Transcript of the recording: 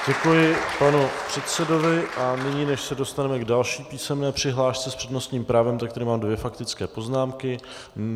Děkuji panu předsedovi a nyní, než se dostaneme k další písemné přihlášce s přednostním právem, tak tady mám dvě faktické poznámky.